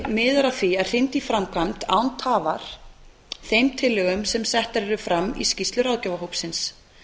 miðar að því að hrinda í framkvæmd án tafar þeim tillögum sem settar eru fram í skýrslu ráðgjafarhópsins